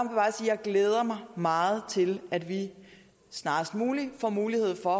glæder mig meget til at vi snarest muligt får mulighed for